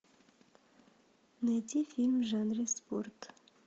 найти фильм в жанре спорт